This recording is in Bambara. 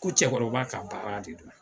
Ko cɛkɔrɔba ka baara de don